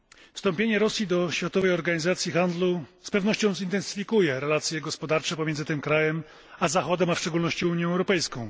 Wstąpienie Rosji do Światowej Organizacji Handlu z pewnością zintensyfikuje relacje gospodarcze pomiędzy tym krajem a Zachodem, a w szczególności Unią Europejską.